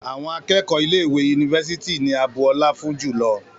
Àwọn akẹ́kọ̀ọ́ ilé ìwé yunifásítì ni a bu ọlá fún jùlọ